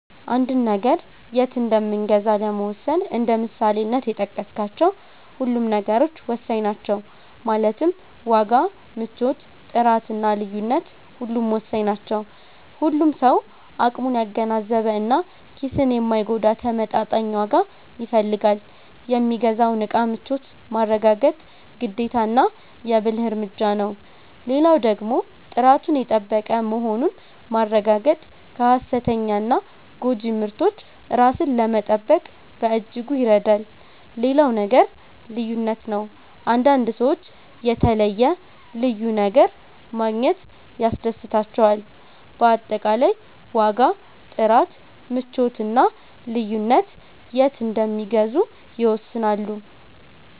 አንድን ነገር የት እንምገዛ ለመወሰን እንደ ምሳሌነት የጠቀስካቸው ሁሉም ነገሮች ወሳኝ ናቸው ማለትም ዋጋ፣ ምቾት፣ ጥራት እና ልዩነት ሁሉም ወሳኝ ናቸው። ሁሉም ሰው አቅሙን ያገናዘበ እና ኪስን የማይጎዳ ተመጣጣኝ ዋጋ ይፈልጋል። የሚገዛውን እቃ ምቾት ማረጋገጥ ግዴታና የ ብልህ እርምጃ ነው። ሌላው ደግሞ ጥራቱን የጠበቀ መሆኑን ማረጋገጥ ከ ሃሰተኛና ጎጂ ምርቶች ራስን ለመጠበቅ በእጅጉ ይረዳል። ሌላው ነገር ልዩነት ነው፤ አንዳንድ ሰዎች የተለየ(ልዩ) ነገር ማግኘት ያስደስታቸዋል። በአጠቃላይ ዋጋ፣ ጥራት፣ ምቾት እና ልዩነት የት እንደሚገዙ ይወስናሉ።